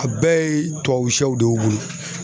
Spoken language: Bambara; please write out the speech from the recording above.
A bɛɛ ye tubabu siyɛw de ye wo.